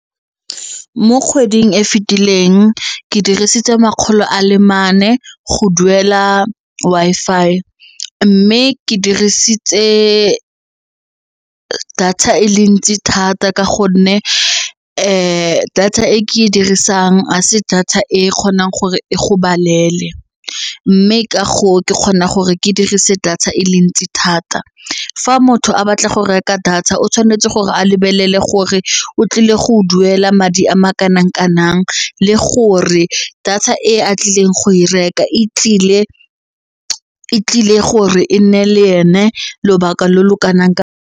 Mo kgweding e fetileng ke dirisitse makgolo a le mane go duela Wi-Fi mme ke dirisitse data e le ntsi thata ka gonne data e ke e dirisang a se data e kgonang gore e go balele mme ke kgona gore ke dirise data e le ntsi thata fa motho a batla go reka data o tshwanetse gore a le bolele gore o tlile go duela madi a ma kanang kanang le gore data e a tlileng go e reka e tlile gore e nne le ene lobaka lo lo kanang ka.